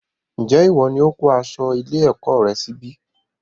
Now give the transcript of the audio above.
Njé ìwo ní o kó aṣọ ilé-èkó rẹ sí ibí?